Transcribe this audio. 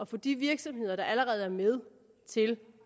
få de virksomheder der allerede er med til